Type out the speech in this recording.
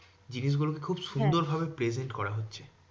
জিনিসগুলোকে খুব সুন্দর ভাবে present করা হচ্ছে